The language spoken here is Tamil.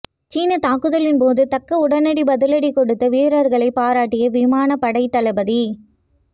சீன தாக்குதலின் போது தக்க உடனடி பதிலடி கொடுத்த வீரர்களை பாராட்டிய விமானப் படை தளபதி